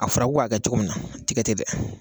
A fɔra ko k'a kɛ cogo min na a ti kɛ ten dɛ